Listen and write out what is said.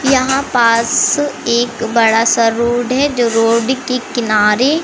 यहां पास एक बड़ा सा रोड है जो रोड के किनारे--